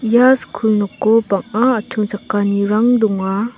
ia skul noko bang·a achongchakanirang donga.